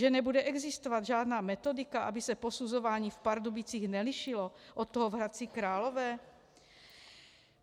Že nebude existovat žádná metodika, aby se posuzování v Pardubicích nelišilo od toho v Hradci Králové?